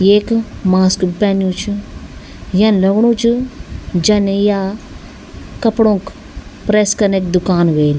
येक मास्क भी पेन्यू च यन लगणु च जन या कपड़ोक प्रेस कनक दुकान ह्वेल।